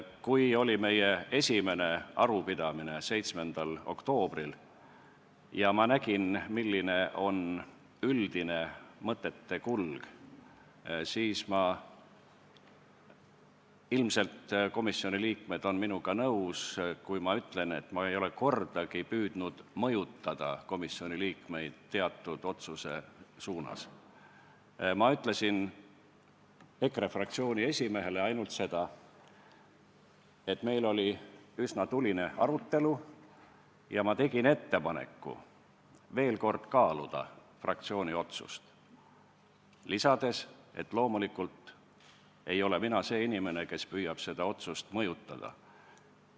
Kui oli meie esimene arupidamine 7. oktoobril ja ma nägin, milline on üldine mõtete kulg, siis ma ütlesin – ilmselt on komisjoni liikmed minuga nõus, kui ma ütlen, et ma ei ole kordagi püüdnud mõjutada komisjoni liikmeid teatud otsuse suunas – EKRE fraktsiooni esimehele ainult seda, et meil oli üsna tuline arutelu, ja ma tegin ettepaneku veel kord kaaluda fraktsiooni otsust, lisades, et loomulikult ei ole mina see inimene, kes püüab seda otsust mõjutada.